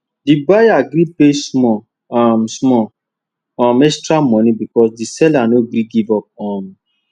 di buyer gree pay small um small um extra money because di seller no gree give up um